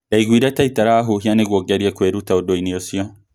Ndaiguire ta itarahuhia nĩguo ngerie kuĩruta ũndũ-inĩ ũcio